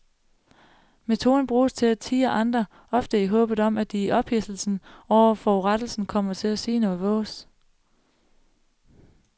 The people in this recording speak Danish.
Metoden bruges til at tirre andre, ofte i håbet om at de i ophidselsen over forurettelsen kommer til at sige noget vås.